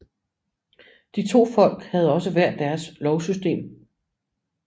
De to folk havde også hver deres lovsystem